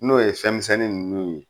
N'o ye fɛn misɛnnin nunnu ye.